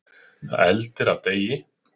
Það eldir af degi.